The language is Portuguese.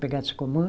Pegado Sacomã.